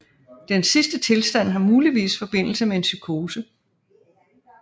Den sidste tilstand har muligvis forbindelse med en psykose